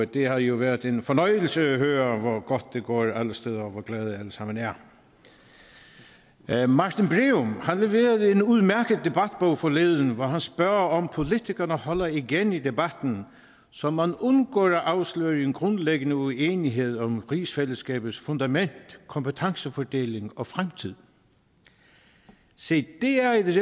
det har jo været en fornøjelse at høre godt det går alle steder og hvor glade alle sammen er er martin breum leverede en udmærket debatbog forleden hvor han spørger om politikerne holder igen i debatten så man undgår at afsløre en grundlæggende uenighed om rigsfællesskabets fundament kompetencefordeling og fremtid se det er et